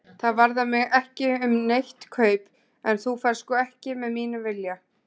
Það varðar mig ekki um neitt kaup, en þú ferð sko ekki með mínum vilja.